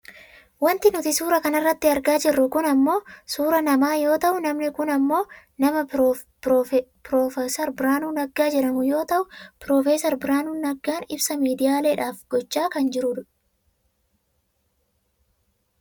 Wanti nuti suuraa kanarratti argaa jirru kun ammoo suuraa namaa yoo ta'u namni kun ammoo nama prof Biraanuu Naggaa jedhamu yoo ta'u, prof Biraanuu Naggaan ibsa miidiyaaleedhaaf gochaa kan jirudha.